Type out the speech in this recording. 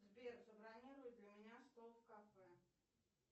сбер забронируй для меня стол в кафе